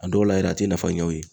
A dɔw la yɛrɛ, a tɛ nafa ɲɛ u ye.